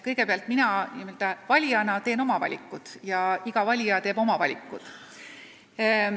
Kõigepealt, mina n-ö valijana teen oma valikud ja iga valija teeb oma valikud.